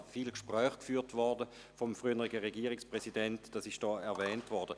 Wie erwähnt, hat der frühere Regierungspräsident zahlreiche Gespräche geführt.